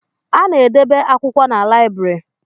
A na-edebe akwụkwọ na lịabiri